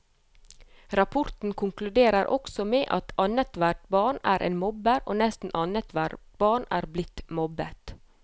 Rapporten konkluderer også med at annethvert barn er en mobber, og nesten annethvert barn er blitt mobbet.